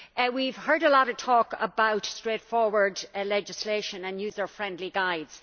We have heard a lot of talk about straightforward legislation and user friendly guides.